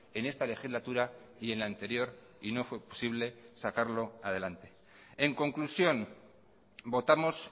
en esta legislatura y en la anterior y no fue posible sacarlo adelante en conclusión votamos